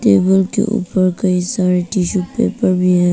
Table के ऊपर कई सारे टिशू पेपर भी है।